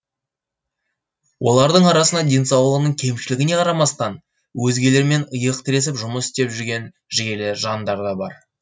олардың арасында денсаулығының кемшілігіне қарамастан өзгелермен иық тіресіп жұмыс істеп жүрген жігерлі жандар да бар